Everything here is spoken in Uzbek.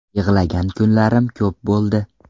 Yig‘lagan kunlarim ko‘p bo‘ldi.